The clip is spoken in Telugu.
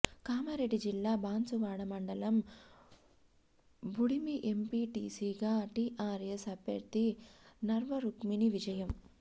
కామారెడ్డి జిల్లా బాన్సువాడ మండలం బుడిమి ఎంపీటీసీగా టీఆర్ఎస్ అభ్యర్థి నర్వ రుక్మిణి విజయం